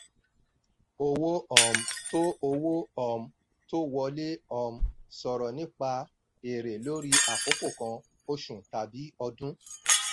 owó um tó owó um tó wọlé um sọ̀rọ̀ nípa èrè lórí àkókò kan – oṣù tàbí ọdún.